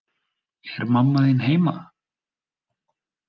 Er mamma þín heima?